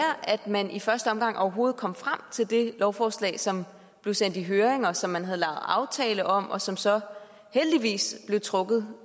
at man i første omgang overhovedet kom frem til det lovforslag som blev sendt i høring og som man havde lavet aftale om og som så heldigvis blev trukket